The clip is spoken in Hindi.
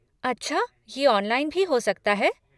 अच्छा ये ऑनलाइन भी हो सकता है?